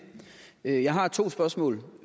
jeg har to spørgsmål